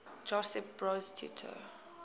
josip broz tito